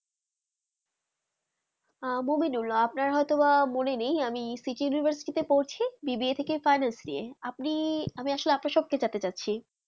আহ মোমিনুল আপনার হতো বা মনে নেই আমি সিটি university তে পড়ছি BSC কে finance নিয়ে আমি আসল আপনা সব তে জানতে চাচ্ছি